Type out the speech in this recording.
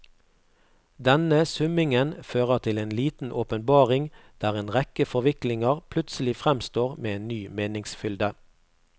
Denne summingen fører til en liten åpenbaring, der en rekke forviklinger plutselig fremstår med en ny meningsfylde.